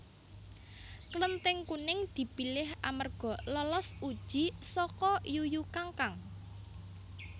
Klething Kuning dipilih amarga lolos uji saka Yuyu Kangkang